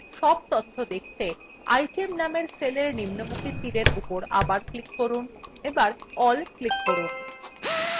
cell তথ্য দেখতে item named cellin নিম্নমুখী তীরin উপর আবার click করুন এবার all click করুন